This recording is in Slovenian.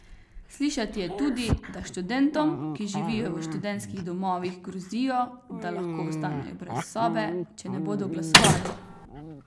Slišati je tudi, da študentom, ki živijo v študentskih domovih, grozijo, da lahko ostanejo brez sobe, če ne bodo glasovali.